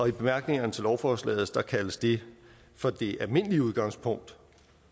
i bemærkningerne til lovforslaget kaldes det for det almindelige udgangspunkt